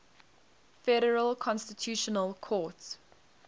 federal constitutional court